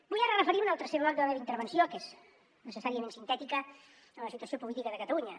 vull ara referir me al tercer bloc de la meva intervenció que és necessàriament sintètica a la situació política de catalunya